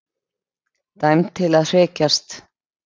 Dæmd til að hrekjast.